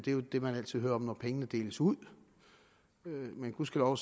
jo det man altid hører om når pengene deles ud men gudskelov